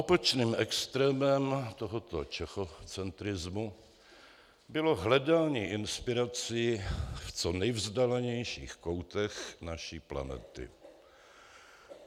Opačným extrémem tohoto čechocentrismu bylo hledání inspirací v co nejvzdálenějších koutech naší planety.